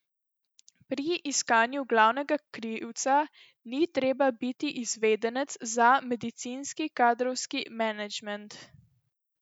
Pri iskanju glavnega krivca ni treba biti izvedenec za medicinski kadrovski menedžment.